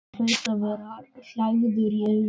Hann hlaut að vera hlægilegur í augum hennar.